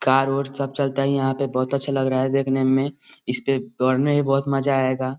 Car उर सब चलता है यहाँ पे बहुत अच्छा लग रहा है देखने में इसपे दौड़ने में भी बहुत मजा आएगा।